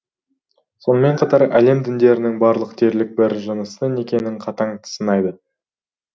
сонымен бірге әлем діндерінің барлығы дерлік бір жынысты некені қатаң сынайды